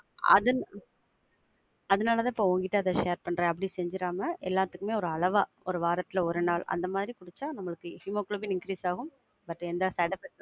அது அதுனாலதான்ப்பா உன்கிட்ட அத share அப்படி செஞ்சிராம, எல்லாத்துக்குமே ஒரு அளவா ஒரு வாரத்துல ஒரு நாள், அந்த மாதிரி குடிச்சா நமக்கு ஹீமோகுளோபின் increase ஆகும்